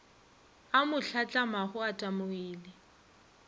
a mo hlatlamago o tamogile